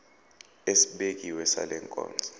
esibekiwe sale nkonzo